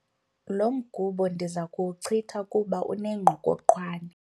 Lo mgubo ndiza kuwuchitha kuba unengqokoqwane.